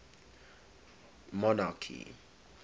monarchy